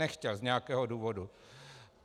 Nechtěl z nějakého důvodu.